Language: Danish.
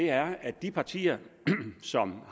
er at af de partier som